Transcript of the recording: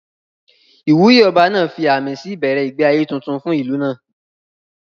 Ìwúyè Ọba náà fi àmì sí ìbẹ̀rẹ̀ ìgbé ayé tuntun fún ìlú náà